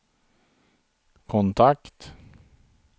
kontakt